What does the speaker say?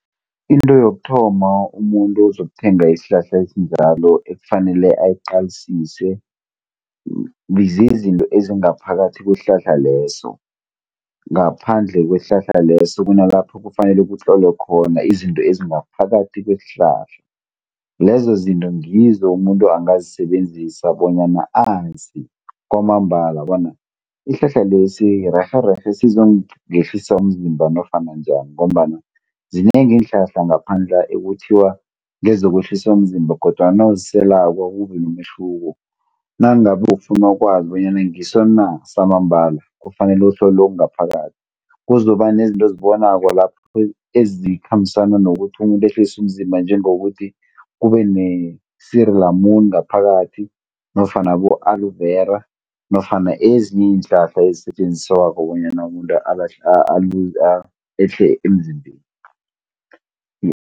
Into yokuthoma umuntu ozokuthenga isihlahla esinjalo ekufanele ayiqalisise, zizinto ezingaphakathi kwesihlahla leso. Ngaphandle kwesihlahla leso kunalapho kufanele kutlolwe khona izinto ezingaphakathi kwesihlahla. Lezo zinto ngizo umuntu angazisebenzisa bonyana azi kwamambala bona isihlahla lesi rerhe rerhe sizongehlisa umzimba nofana njani ngombana zinengi iinhlahla ngaphandla' ekuthiwa ngezokwehlisa umzimba kodwana nawuziselako akubi nomehluko. Nangabe ufuna ukwazi bonyana ngiso na samambala kufanele uhlole okungaphakathi. Kuzokuba nezinto ozibonako lapho ezikhambisana nokuthi umuntu ehlise umzimba njengokuthi kube ne suur lemoen ngaphakathi, nofana abo-Aloe Vera, nofana ezinye iinhlahla ezisetjenziswako bonyana umuntu ehle emzimbeni.